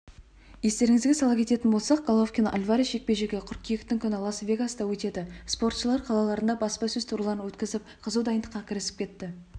естеріңізге сала кететін болсақ головкин альварес жекпе-жегі қыркүйектің күні лас-вегаста өтеді спортшылар қалаларында баспасөз турларын өткізіп қызу дайындыққа кірісіп кетті